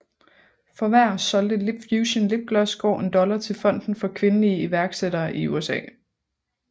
For hver solgte LipFusion Lipgloss går en dollar til fonden for kvindelige iværksættere i USA